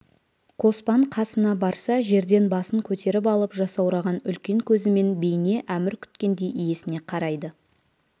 қоспан қасына барса жерден басын көтеріп алып жасаураған үлкен көзімен бейне әмір күткендей иесіне қарайды